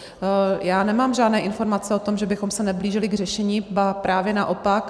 Já nemám žádné informace o tom, že bychom se neblížili k řešení, ba právě naopak.